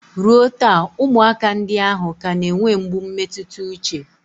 Ruo taa, ụmụaka ndị ahụ ka na-enwe mgbu mmetụta uche